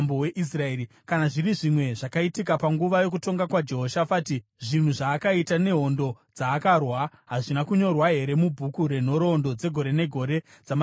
Kana zviri zvimwe zvakaitika panguva yokutonga kwaJehoshafati, zvinhu zvaakaita nehondo dzaakarwa, hazvina kunyorwa here mubhuku renhoroondo dzegore negore dzamadzimambo eJudha?